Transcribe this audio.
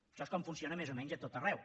això és com funciona més o menys a tot arreu